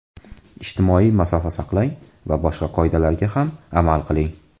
Ijtimoiy masofa saqlang va boshqa qoidalarga ham amal qiling.